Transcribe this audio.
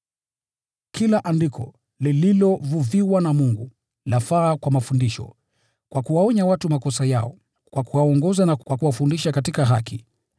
Kila Andiko limevuviwa na Mungu na lafaa kwa mafundisho, kwa kuwaonya watu makosa yao, kwa kuwaongoza na kwa kuwafundisha katika haki,